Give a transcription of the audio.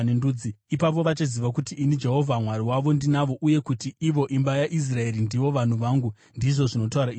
Ipapo vachaziva kuti ini, Jehovha Mwari wavo, ndinavo uye kuti ivo, imba yaIsraeri, ndivo vanhu vangu, ndizvo zvinotaura Ishe Jehovha.